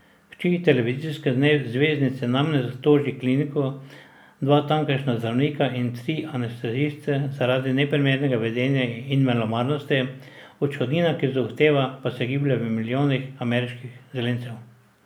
Hči televizijske zvezdnice namreč toži kliniko, dva tamkajšnja zdravnika in tri anesteziste zaradi neprimernega vedenja in malomarnosti, odškodnina, ki jo zahteva, pa se giblje v milijonih ameriških zelencev.